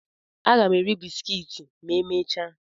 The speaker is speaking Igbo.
Aga m eri bisikiiti ma emechaa.